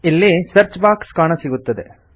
ಇಲ್ಲಿ search box ಕಾಣಸಿಗುತ್ತದೆ